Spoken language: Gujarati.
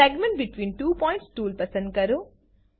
segment between two points tool પસંદ કરો